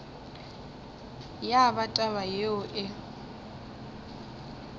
ya ba taba yeo e